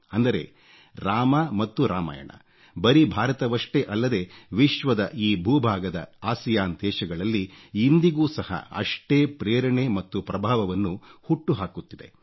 ಅಂದರೆ ರಾಮ ಮತ್ತು ರಾಮಾಯಣ ಬರೀ ಭಾರತವಷ್ಟೇ ಅಲ್ಲದೆ ವಿಶ್ವದ ಈ ಭೂಭಾಗದ ಆಸಿಯಾನ್ ದೇಶಗಳಲ್ಲಿ ಇಂದಿಗೂ ಸಹ ಅಷ್ಟೇ ಪ್ರೇರಣೆ ಮತ್ತು ಪ್ರಭಾವವನ್ನು ಹುಟ್ಟು ಹಾಕುತ್ತಿದೆ